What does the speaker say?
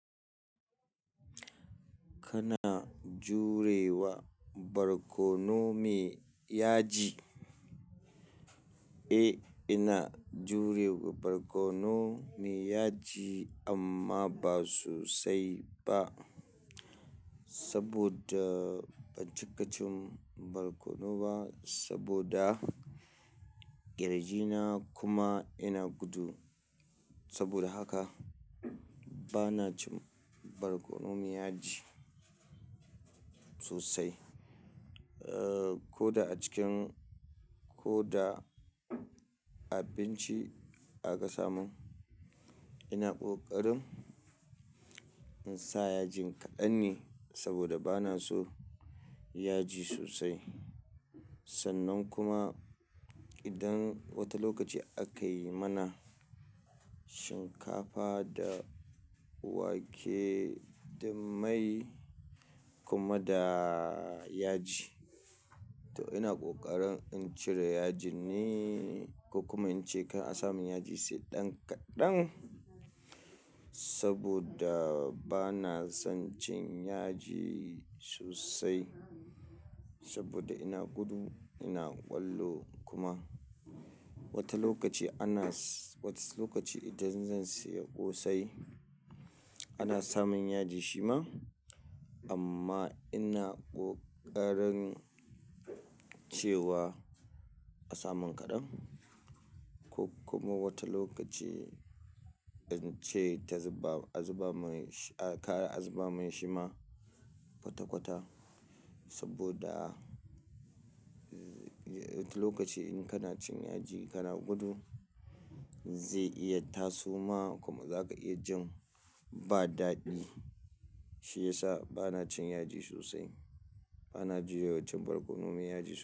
Kana jurewa barkono me yaji? Eh, ina jurewa barkono me yaji amma ba sosai ba saboda ban cika cin barkono ba saboda kirji na kuma ina gudu. Saboda haka bana cin barkono me yaji sosai. Eh, ko da a cikin-- ko da abinci aka samo, ina kokarin in sa yaji kaɗan ne saboda bana so yaji sosai. Sannan kuma idan wata lokaci aka yi mana shinkafa da wake da mai kuma da yaji, to ina kokarin in cire yajin ne ko kuma in ce kar a samin yaji sai ɗan kaɗan saboda bana son cin yaji sosai saboda ina gudu, ina ƙwallo kuma. Wata lokaci ana s-- wata lokaci idan zan sayi ƙosai, ana samin yaji shi ma amma ina ƙoƙarin cewa a samu kaɗan ko kuma wata lokaci in ce ta zuba-- a zuba mai shi-- ka a zuba min shi ma kwata kwata saboda wata lokaci in kana cin yaji kana gudu, zai iya taso ma kuma za ka iya jin ba daɗi. Shi ya sa bana cin yaji sosai. Bana jurewa cin barkono me yaji.